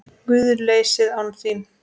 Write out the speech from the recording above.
GUÐLEYSIÐ ÁN ÞÍN